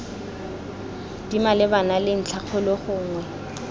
di malebana le ntlhakgolo gongwe